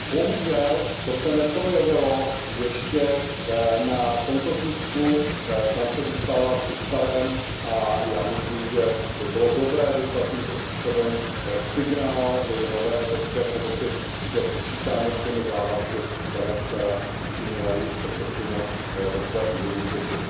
Bohužel se to ještě neprojevilo v tomto tisku, tam vše zůstává při starém a já myslím, že by bylo dobré vyslat tímto způsobem signál i nové Evropské komisi, že počítáme s těmi závazky, které učinila včera její předsedkyně ve své úvodní řeči.